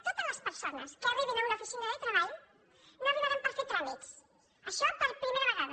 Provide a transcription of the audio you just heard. totes les persones que arribin a una oficina de treball no hi arribaran per fer tràmits això la primera vegada